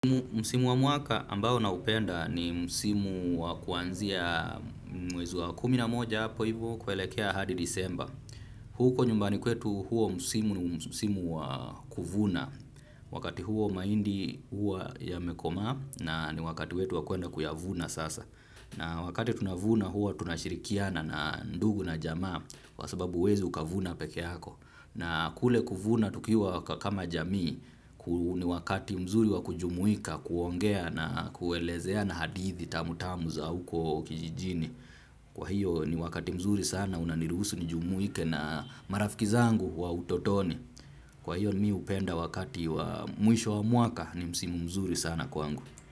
Msimu wa mwaka ambao naupenda ni msimu wa kuanzia mwezi wa kumi na moja hapo hivo kuelekea hadi disemba. Huko nyumbani kwetu huo. Msimu ni msimu wa kuvuna. Wakati huo mahindi huwa yamekomaa na ni wakati wetu wa kuenda kuyavuna sasa. Na wakati tunavuna huwa tunashirikiana na ndugu na jamaa kwa sababu huwezi ukavuna peke yako. Na kule kuvuna tukiwa kama jamii, ni wakati mzuri wa kujumuika, kuongea na kuelezea na hadithi tamu tamu za uko kijijini. Kwa hiyo ni wakati mzuri sana, unaniruhusu nijumuike na marafiki zangu wa utotoni. Kwa hiyo mimi hupenda wakati wa mwisho wa mwaka, ni msimu mzuri sana kwangu.